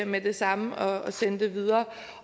med det samme og sende det videre